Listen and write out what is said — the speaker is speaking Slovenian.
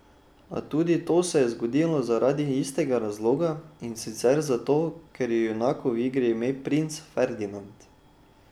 A tudi to se je zgodilo zaradi istega razloga, in sicer zato, ker je junaku v igri ime princ Ferdinand.